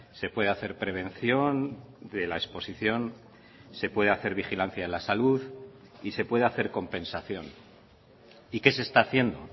se puede hacer prevención de la exposición se puede hacer vigilancia en la salud y se puede hacer compensación y qué se está haciendo